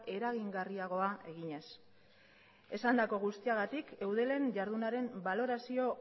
eragingarriagoa eginez esandako guztiagatik eudelen jardunaren balorazio